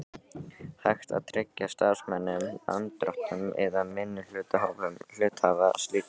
hægt að tryggja starfsmönnum, lánardrottnum eða minnihlutahópum hluthafa slíkan rétt.